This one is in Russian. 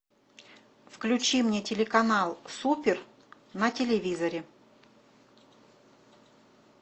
включи мне телеканал супер на телевизоре